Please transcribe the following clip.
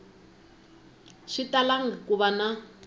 swi talangi ku va na